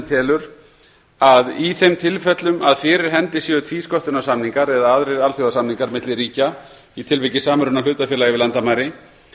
telur að í þeim tilfellum að fyrir hendi séu tvísköttunarsamningar eða aðrir alþjóðasamningar milli ríkja í tilviki samruna hlutafélaga yfir landamæri